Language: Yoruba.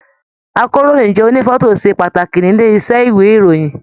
Àkòróyinjọ́ ònífọ̀tò ṣe pàtàkì nílé iṣẹ ìwé ìròyìn.